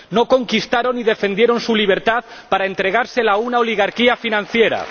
no conquistaron ni defendieron su libertad para entregársela a una oligarquía financiera.